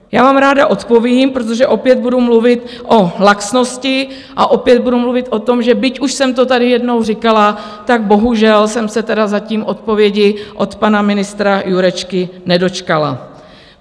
Já vám ráda odpovím: protože opět budu mluvit o laxnosti a opět budu mluvit o tom, že, byť už jsem to tady jednou říkala, tak bohužel jsem se tedy zatím odpovědi od pana ministra Jurečky nedočkala.